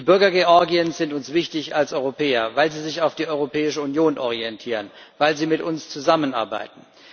Die Bürger Georgiens sind uns wichtig als Europäer, weil sie sich auf die Europäische Union hin orientieren, weil sie mit uns zusammenarbeiten.